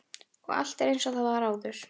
Og allt er einsog það var áður.